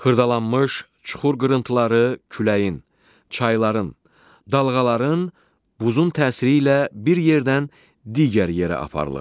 Xırdalanmış, çuxur qırıntıları küləyin, çayların, dalğaların, buzun təsiri ilə bir yerdən digər yerə aparılır.